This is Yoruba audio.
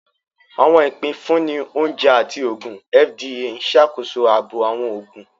Awọn ipinfunni Oúnjẹ àti Oògùn (FDA) n ṣàkóso ààbò awọn oògùn